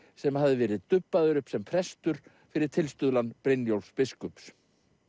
sem hafði verið dubbaður upp sem prestur fyrir tilstuðlan Brynjólfs biskups